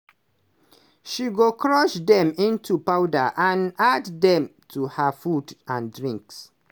she go crush dem into powder and add dem to her food and drink.